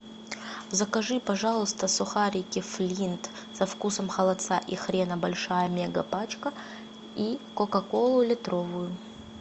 закажи пожалуйста сухарики флинт со вкусом холодца и хрена большая мега пачка и кока колу литровую